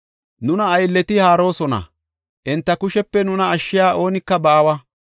Nuna aylleti haaroosona; enta kushepe nuna ashshiya oonika baawa.